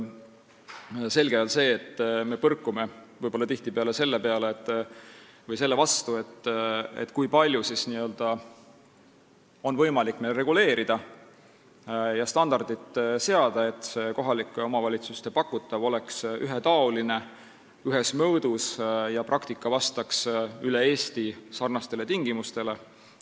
Selge on see, et me põrkame tihtipeale selle vastu, kui palju on võimalik meil reguleerida ja standardit seada, et kohalike omavalitsuste pakutav oleks ühetaoline ja ühes mõõdus ning see praktika vastaks üle Eesti sarnastele tingimustele.